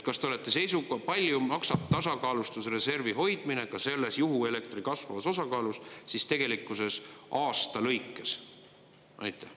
Palju maksab tasakaalustusreservi hoidmine, ka selles juhuelektri kasvavas osakaalus siis tegelikkuses aasta lõikes?